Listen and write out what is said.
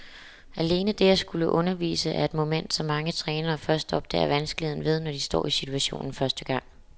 Alene det at skulle undervise er et moment, som mange trænere først opdager vanskeligheden ved, når de står i situationen første gang.